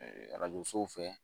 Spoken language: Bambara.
arajo so fɛ